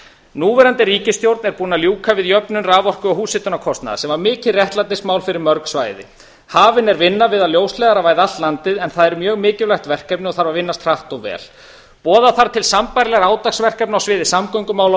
núverandi ríkisstjórn er búin að ljúka við jöfnun raforku og húshitunarkostnaðar sem var mikið réttlætismál fyrir mörg svæði hafin er vinna við að ljósleiðaravæða allt landið en það er mjög mikilvægt verkefni og þarf að vinnast hratt og vel boða þarf til sambærilegra átaksverkefna á sviði samgöngumála og